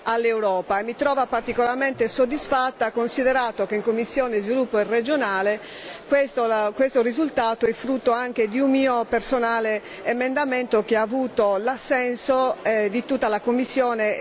all'Europa e mi trova particolarmente soddisfatta, considerato che in commissione per lo sviluppo regionale questo risultato è frutto anche di un mio personale emendamento che ha avuto l'assenso di tutta la commissione